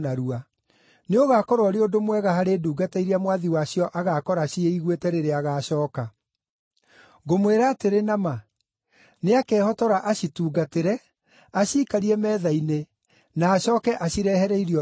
Nĩũgakorwo ũrĩ ũndũ mwega harĩ ndungata iria mwathi wacio agaakora ciĩiguĩte rĩrĩa agacooka. Ngũmwĩra atĩrĩ na ma, nĩakehotora acitungatĩre, aciikarie metha-inĩ, na acooke acirehere irio irĩe.